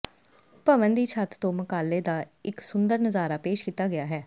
ਭਵਨ ਦੀ ਛੱਤ ਤੋਂ ਮਕਾਲੇ ਦਾ ਇੱਕ ਸੁੰਦਰ ਨਜ਼ਾਰਾ ਪੇਸ਼ ਕੀਤਾ ਗਿਆ ਹੈ